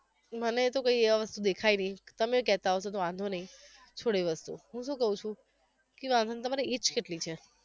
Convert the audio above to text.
મને શુ કહીએ હવે દેખાય નહિ તમે કહેતા હશો તો વાંધો નઈ છોડો એ વસ્તુ હુંં શું કવ છુ કે વાંધો નહિ તમારી age કેટલી છે?